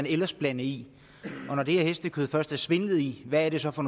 ellers blande i og når det her hestekød først er blevet svindlet i hvad er det så for